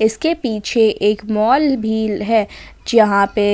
इसके पीछे एक मॉल भी है जहां पे